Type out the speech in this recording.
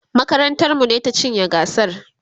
makarantar mu ne ta cinye gasar